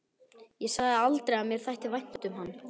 Ég sagði aldrei að mér þætti vænt um hann.